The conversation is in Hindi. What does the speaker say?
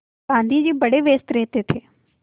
गाँधी जी बड़े व्यस्त रहते थे